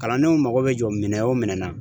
Kalandenw mago bɛ jɔ minɛn o minɛn na